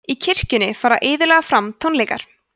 í kirkjunni fara iðulega fram tónleikar